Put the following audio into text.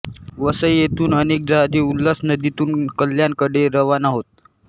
वसई येथून अनेक जहाजे उल्हास नदीतून कल्याणकडे रवाना होत